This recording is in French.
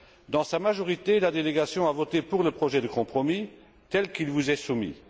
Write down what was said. Dans sa majorité, la délégation a voté pour le projet de compromis tel qu'il vous est soumis.